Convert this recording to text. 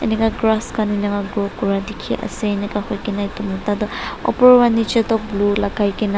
Inner grass khan enika grow kurina dekhey ase enika hoikena etu mota toh opor para nechi tok blue lagaikena--